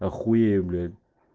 я хуею блять